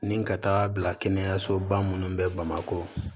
Ni ka taa bila kɛnɛyasoba minnu bɛ bamakɔ